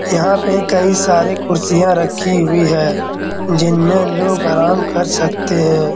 यहाँ पे कई सारे कुर्सियां रखी हुई है जिनमे लोग आराम कर सकते हैं।